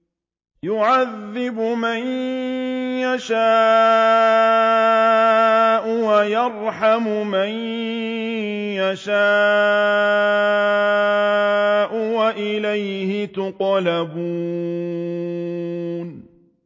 يُعَذِّبُ مَن يَشَاءُ وَيَرْحَمُ مَن يَشَاءُ ۖ وَإِلَيْهِ تُقْلَبُونَ